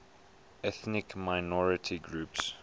ethnic minority groups